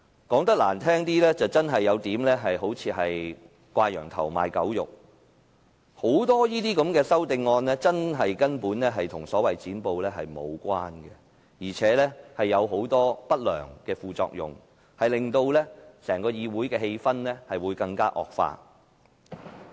說得難聽點，這些修正案似乎真的有點"掛羊頭賣狗肉"，當中很多根本與所謂"剪布"無關，而且會產生很多不良的副作用，令整個議會的氣氛惡化。